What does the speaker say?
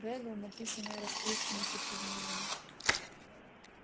реддл написанное расплывшимися чернилами